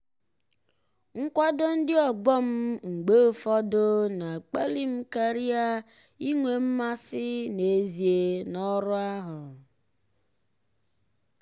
nkwado ndị ọgbọ m mgbe ụfọdụ na-akpali m karịa inwe mmasị n'ezie n'ọrụ ahụ.